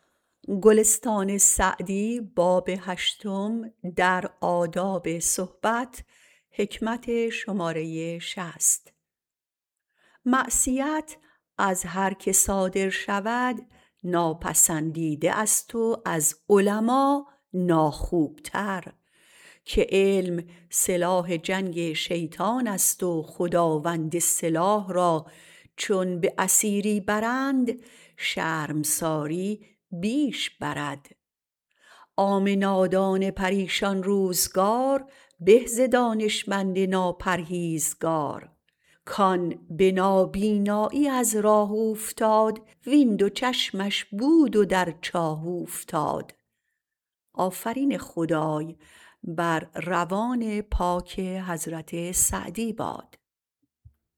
معصیت از هر که صادر شود ناپسندیده است و از علما ناخوبتر که علم سلاح جنگ شیطان است و خداوند سلاح را چون به اسیری برند شرمساری بیش برد عام نادان پریشان روزگار به ز دانشمند ناپرهیزگار کآن به نابینایی از راه اوفتاد وین دو چشمش بود و در چاه اوفتاد